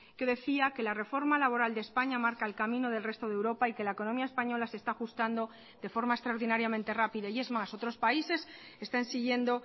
que decía que la reforma laboral de españa marca el camino del resto de europa y que la economía española se está ajustando de forma extraordinariamente rápida y es más otros países están siguiendo